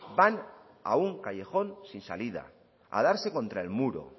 van a un callejón sin salida a darse contra el muro